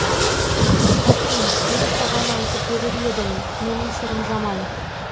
аким мен саған айтып берер едім менің сырым жаман